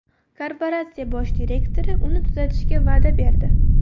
Korporatsiya bosh direktori uni tuzatishga va’da berdi.